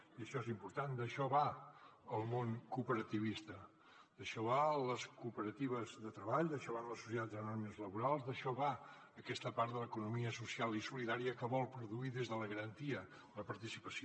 i això és important d’això va el món cooperativista d’això van les cooperatives de treball d’això van les societats anònimes laborals d’això va aquesta part de l’economia social i solidària que vol produir des de la garantia de la participació